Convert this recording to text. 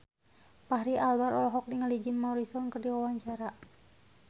Fachri Albar olohok ningali Jim Morrison keur diwawancara